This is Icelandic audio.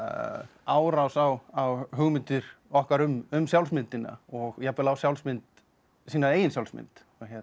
árás á á hugmyndir okkar um sjálfsmyndina og jafnvel á sjálfsmynd sína eigin sjálfsmynd